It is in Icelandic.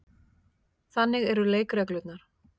Þannig eru leikreglurnar.